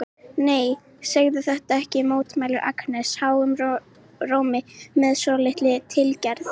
Nei, segðu þetta ekki, mótmælir Agnes háum rómi með svolítilli tilgerð.